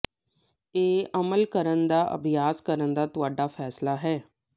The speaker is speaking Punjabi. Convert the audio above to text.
ਇਹ ਅਮਲ ਕਰਨ ਦਾ ਅਭਿਆਸ ਕਰਨ ਦਾ ਤੁਹਾਡਾ ਫੈਸਲਾ ਹੈ